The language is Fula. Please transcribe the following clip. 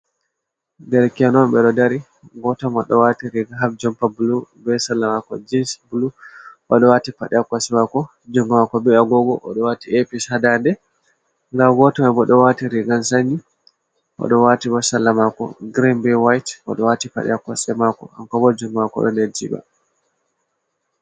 Ɗerke en non be ɗo dari. goto Mai oɗo wati riga haf jompa bulu. be salla mako jins bulu. Oɗo wati paɗi ha kosɗemako jungamako be agogo. Odo wati eya-pis ha ɗade. Ɗa goto mai bo oɗo wati rigan sanyi, oɗo wati bo salla mako gireen br white. Oɗo wati padi ha kosɗemako agogo bo ha jungomako ner jiba.